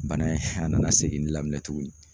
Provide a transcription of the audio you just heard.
Bana in a nana seginnin daminɛ tugunni.